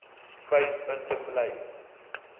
vyf punte bly